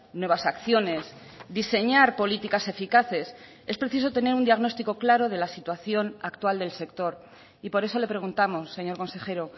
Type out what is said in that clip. nuevas acciones diseñar políticas eficaces es preciso tener un diagnóstico claro de la situación actual del sector y por eso le preguntamos señor consejero